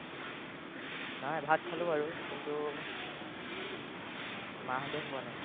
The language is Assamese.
নাই, ভাত খালো বাৰু, কিন্তু, মাহঁতে খোৱা নাই।